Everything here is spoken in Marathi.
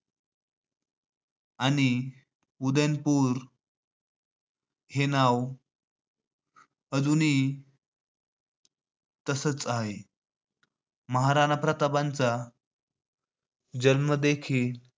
आणि उदयपूर हे नाव अजूनही तसचं आहे. महाराणा प्रतापांचा जन्म देखील